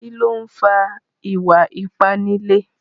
Kí ló ń fa ìwà ipá nílé?